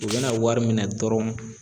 U bɛna wari minɛ dɔrɔn